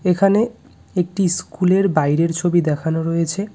এখানে একটি স্কুলের বাইরের ছবি দেখানো রয়েছে।